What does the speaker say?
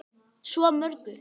Svo mörgu.